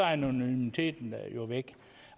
er anonymiteten jo væk